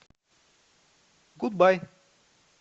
гудбай